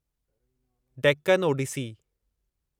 Deccan Odissi